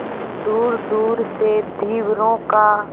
दूरदूर से धीवरों का